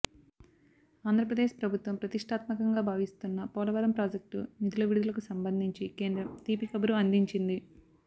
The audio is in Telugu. ఆంధ్రప్రదేశ్ ప్రభుత్వం ప్రతిష్ఠాత్మకంగా భావిస్తున్న పోలవరం ప్రాజెక్టు నిధుల విడుదలకు సంబంధించి కేంద్రం తీపి కబురు అందించింది